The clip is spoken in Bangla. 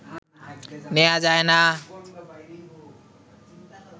নেয়া যায় না